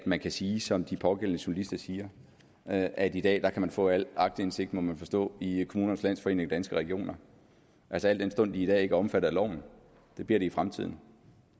man kan sige som de pågældende journalister siger at at i dag kan man få al aktindsigt må man forstå i kommunernes landsforening og danske regioner altså al den stund de i dag ikke er omfattet af loven det bliver de i fremtiden